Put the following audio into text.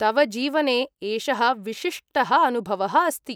तव जीवने एषः विशिष्टः अनुभवः अस्ति।